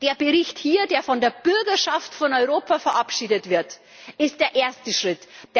Der Bericht hier, der von der Bürgerschaft Europas verabschiedet wird, ist der erste Schritt.